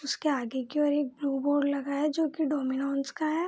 उसके आगे की ओर एक ब्लू बोर्ड लगा है जो की डोमिनोज का है।